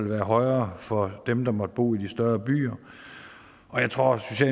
være højere for dem der måtte bo i de større byer og jeg tror også